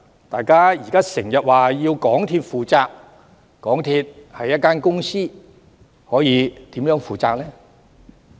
大家現時經常也說要港鐵公司負責，但港鐵公司是一間公司，它可以如何負責呢？